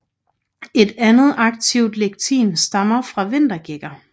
Et andet aktivt lectin stammer fra vintergækker